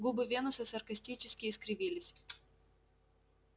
губы венуса саркастически искривились